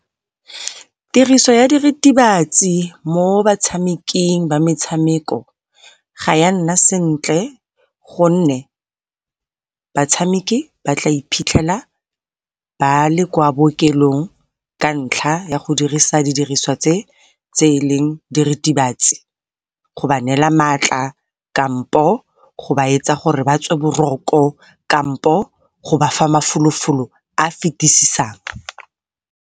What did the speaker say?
Tiriso ya diritibatsi mo batshameking ba metshameko ga ya nna sentle gonne batshameki ba tla iphitlhela ba le kwa bookelong ka ntlha ya go dirisa di diriswa tse, tse e leng diritibatsi go ba neela maatla kampo go ba etsa gore ba tswe boroko kampo go ba fa mafolo-folo a fitisisang.